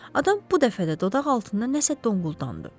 Adam bu dəfə də dodaqaltından nəsə donquldandı.